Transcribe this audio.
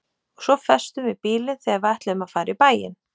Og svo festum við bílinn þegar við ætluðum að fara í bæinn.